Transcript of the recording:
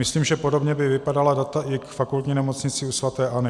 Myslím, že podobně by vypadala data i k Fakultní nemocnici u sv. Anny.